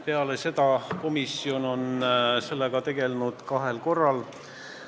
Peale seda on komisjon sellega tegelnud kahel korral.